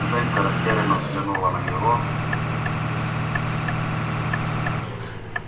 женька растерянно взглянула на него